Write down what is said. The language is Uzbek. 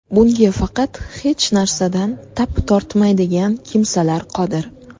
Bunga faqat hech narsadan tap tortmaydigan kimsalar qodir.